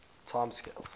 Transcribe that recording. time scales